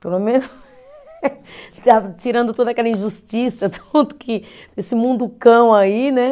Pelo menos Tirando toda aquela injustiça, tudo que, esse munducão aí, né?